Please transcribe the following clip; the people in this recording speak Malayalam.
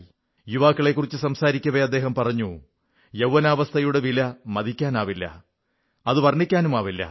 യുവാക്കളെക്കുറിച്ച് സംസാരിക്കവെ അദ്ദേഹം പറഞ്ഞു യൌവ്വനാവസ്ഥയുടെ വില മതിക്കാനാവില്ല അത് വർണ്ണിക്കാനുമാവില്ല